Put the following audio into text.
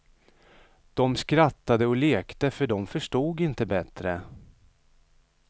De skrattade och lekte för de förstod inte bättre.